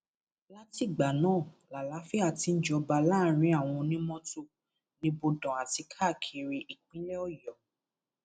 látìgbà náà làlàáfíà ti ń jọba láàrin àwọn onímọtò nibodàn àti káààkiri ìpínlẹ ọyọ